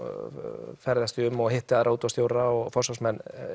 ferðast ég mikið um og hitti útvarpsstjóra og forsvarsmenn